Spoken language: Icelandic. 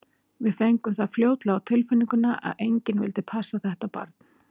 Við fengum það fljótlega á tilfinninguna að enginn vildi passa þetta barn.